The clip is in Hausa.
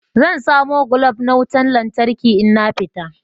Zan samo glob na wutan lantarki in na fita.